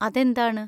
അതെന്താണ്?